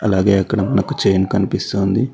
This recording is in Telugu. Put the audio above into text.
అలాగే అక్కడ మనకు చైన్ కనిపిస్తుంది.